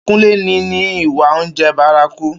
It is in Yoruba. Kúnlé ní ní ìwà oúnjẹ bárakú